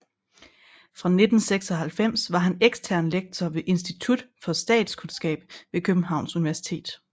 Fra 1996 var han ekstern lektor ved Institut for Statskundskab ved Københavns Universitet